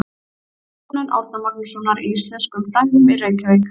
Stofnun Árna Magnússonar í íslenskum fræðum í Reykjavík.